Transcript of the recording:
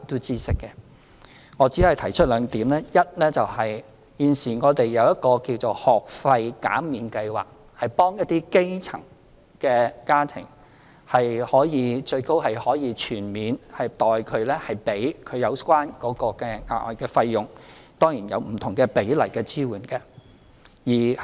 基於時間關係，我只可以提出兩點：第一，現時我們設有一個幫助基層家庭的"幼稚園及幼兒中心學費減免計劃"，最高是可以學費全免，政府代其支付有關的額外費用，當然亦有不同比例的支援。